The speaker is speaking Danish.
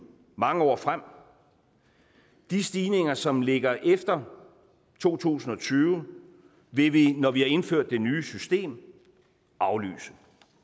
mange år frem de stigninger som ligger efter to tusind og tyve vil vi når vi har indført det nye system aflyse